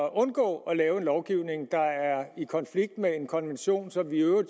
at undgå at lave en lovgivning der er i konflikt med en konvention som vi jo